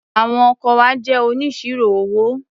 Àwọn ọkọ wa jẹ́ oníṣirò owó.